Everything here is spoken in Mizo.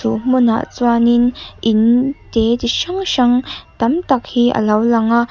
chu hmunah chuanin in te chi hrang hrang tam tak hi alo lang a.